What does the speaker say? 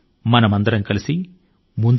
మనమందరం కలసి ముందుకు సాగుదాము